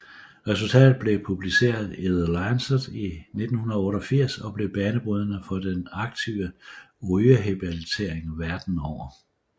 Resultatet blev publiceret i The Lancet i 1988 og blev banebrydende for den aktive rygrehabilitering verden over